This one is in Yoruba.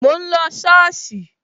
Mo ń lọ sí soosi